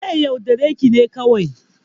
Zai yaudare ki ne kawai